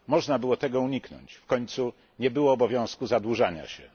Można było tego uniknąć, w końcu nie było obowiązku zadłużania się.